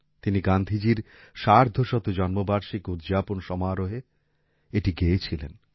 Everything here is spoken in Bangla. তিনি গান্ধীজির সার্ধশত জন্মবার্ষিকী উদযাপন সমারোহে এটি গেয়েছিলেন